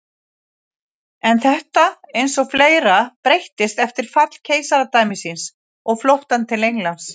En þetta eins og fleira breyttist eftir fall keisaradæmisins og flóttann til Englands.